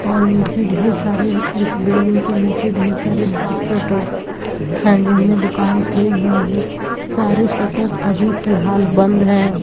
और नीचे ढ़ेर सारे इस बिल्डिंग्स के नीचे ढ़ेर सारे शटर्स हैं जिन में दुकान खुली हुई हैं सारे शटर अभी फिलहाल बंद हैं।